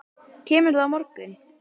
Kemurðu á morgun?